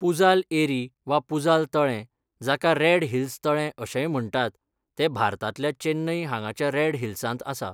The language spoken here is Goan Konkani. पुझाल एरी वा पुझाल तळें, जाका रेड हिल्स तळें अशेंय म्हण्टात, तें भारतांतल्या चेन्नई हांगाच्या रेड हिल्सांत आसा.